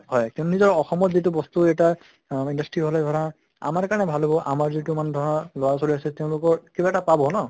হয় নিজৰ অসমত যিটো বস্তু এটা অহ industry হʼলে ধৰা আমাএ কাৰণে ভাল হʼব, আমাৰ যিটো মানে ধৰা লʼৰা ছোৱালী আছে তেওঁলোকৰ কিবা এটা পাব ন?